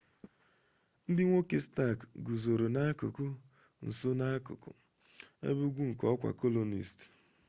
ndị nwoke stark guzoro n'akụkụ nsu n'akụkụ ebe ugwu nke ọkwa colonist